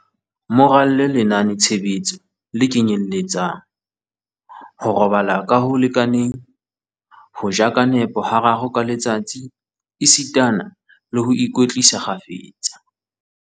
Mo ralle lenaneo-tshebetso le kenyeletsang, ho robala ka ho lekaneng, ho ja ka nepo hararo ka letsatsi esitana le ho ikwetlisa kgafetsa.